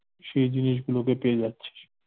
সেই জিনিসগুলোকে পেয়ে যাচ্ছিস।